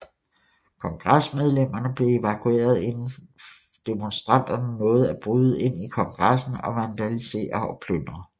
Kongresmedlemmerne blev evakueret inden demonstranterne nåede at bryde ind i Kongressen og vandalisere og plyndre